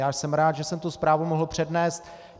Já jsem rád, že jsem tu zprávu mohl přednést.